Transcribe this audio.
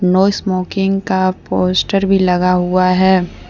No smoking का poster भी लगा हुआ है।